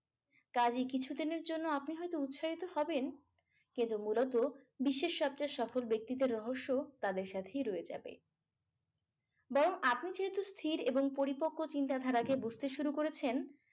কাজেই কিছুদিনের জন্য আপনি হয়তো উৎসাহিত হবেন কিন্তু মূলত বিশ্বের সবচেয়ে সফল ব্যক্তিদের রহস্য তাদের সাথেই রয়ে যাবে। বরং আপনি যেহেতু স্থির এবং পরিপক্ক চিন্তাধারা করতে শুরু করেছেন